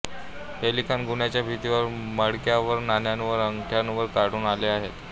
हे लिखाण गुहांच्या भितींवर मडक्यावरनाण्यांवरअंगठ्यांवर आढळून आले आहेत